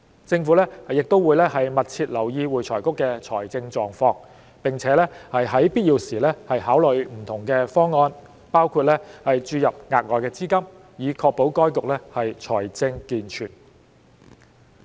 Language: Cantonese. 政府亦會密切留意會財局的財政狀況，並在必要時考慮不同方案，包括注入額外資金，以確保該局財政健全。